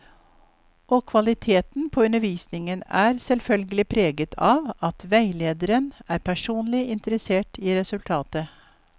Og kvaliteten på undervisningen er selvfølgelig preget av at veilederen er personlig interessert i resultatet.